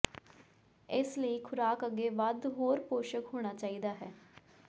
ਇਸ ਲਈ ਖੁਰਾਕ ਅੱਗੇ ਵੱਧ ਹੋਰ ਪੋਸ਼ਕ ਹੋਣਾ ਚਾਹੀਦਾ ਹੈ